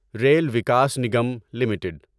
rail Vikas Nigam limited